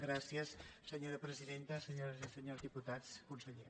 gràcies senyora presidenta senyores i senyors diputats conseller